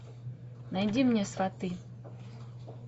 найди мне сваты